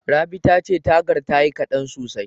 Rabi tace tagar tayi kaɗan sosai.